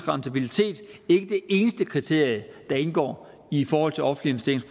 rentabilitet ikke det eneste kriterie der indgår i forhold til offentlige